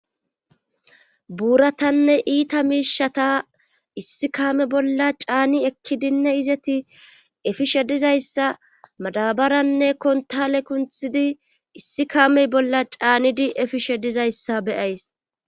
buuratanne iita miishata issi kaame bolla caani ekkidinne izeti efishe dizayssa madabaranne kontale kunthidi issi kaamey bolla caanidi efishe dizayssa be'ays